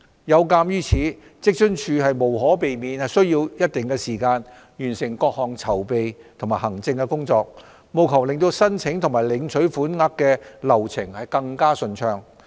有鑒於此，職津處無可避免需要一定時間完成各項籌備及行政工作，務求令申請及領取款額的流程更順暢。